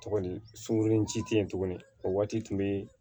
Tuguni sunkuru in ci te yen tuguni o waati tun be